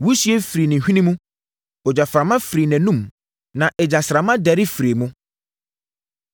Wisie firii ne hwene mu; ogyaframa firii nʼanom; na egyasramma dɛre firii mu.